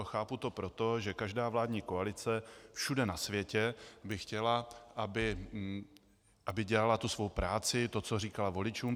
A chápu to proto, že každá vládní koalice všude na světě by chtěla, aby dělala tu svou práci, to, co říkala voličům.